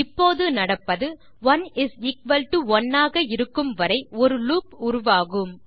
இப்போது நடப்பது 11 ஆக இருக்கும் வரை ஒரு லூப் ஐ உருவாகும்